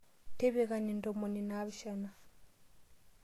Tipikani ntomoni naapishana.